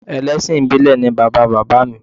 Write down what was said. Ẹlẹ́sìn ìbílẹ̀ ni bàbá bàbá mi